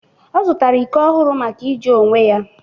ọ zụtara iko ọhụrụ maka iji onwe ya